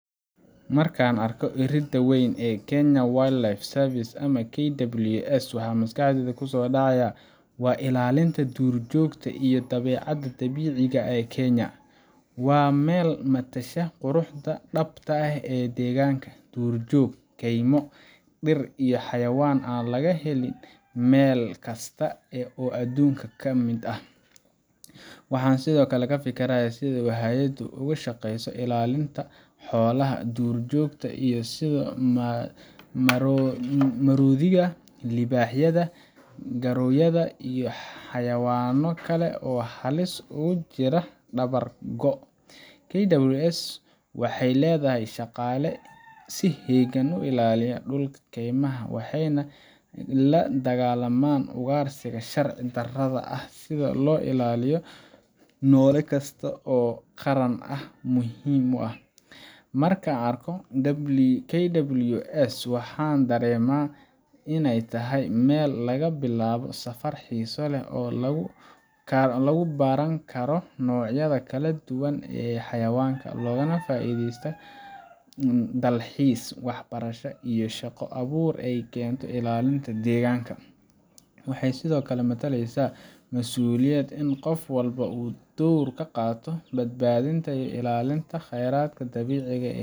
Marka aan arko iridda weyn ee Kenya Wildlife Service, KWS, waxa maskaxdayda ku soo dhacaya waa ilaalinta duurjoogta iyo dabeecadda dabiiciga ah ee Kenya. Waa meel matasha quruxda dhabta ah ee deegaanka – duurjoog, kaymo, dhir iyo xayawaan aan laga helin meel kasta oo adduunka ka mid ah. Waxaan sidoo kale ka fikirayaa sida hay’addu uga shaqeyso ilaalinta xoolaha duurjoogta ah sida maroodiyada, libaaxyada, gorayada, iyo xayawaanno kale oo halis ugu jira dabar go’. KWS waxay leedahay shaqaale si heegan ah u ilaaliya dhulka keymaha, waxayna la dagaallamaan ugaarsiga sharci darrada ah si loo ilaaliyo noole kasta oo qaran ahaan muhiim u ah. Marka aan arko albaabka KWS, waxaan dareemaa in ay tahay meel laga bilaabo safar xiiso leh oo lagu baran karo noocyada kala duwan ee xayawaanka, loogana faa’iideysan karo dalxiiska, waxbarashada, iyo shaqo abuurka ay keento ilaalinta deegaanka. Waxay sidoo kale matalaysaa masuuliyad in qof walba uu door ka qaato badbaadinta iyo ilaalinta khayraadka dabiiciga ah